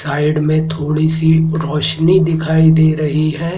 Side में थोड़ी सी रोशनी दिखाई दे रही है।